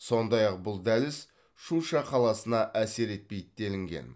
сондай ақ бұл дәліз шуша қаласына әсер етпейді делінген